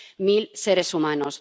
Mil seres humanos.